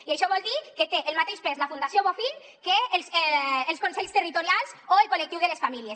i això vol dir que té el mateix pes la fundació bofill que els consells territorials o el col·lectiu de les famílies